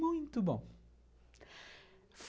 Muito bom.